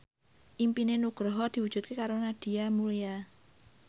impine Nugroho diwujudke karo Nadia Mulya